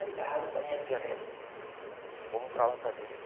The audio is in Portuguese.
Vai para o Rio de Janeiro, vamos para lá com a gente.